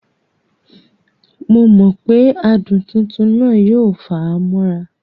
Momọ̀pé adùn tuntun náà yóò fà á mọ́ra